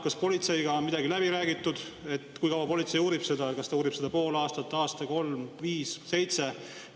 Kas politseiga on see läbi räägitud, kui kaua politsei seda uurib, kas ta uurib seda pool aastat, aasta, kolm, viis, seitse?